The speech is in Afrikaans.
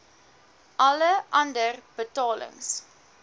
alle ander betalings